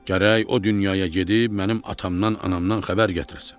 Gərək o dünyaya gedib mənim atamdan, anamdan xəbər gətirəsən.